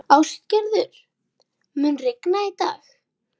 Ástgerður, mun rigna í dag?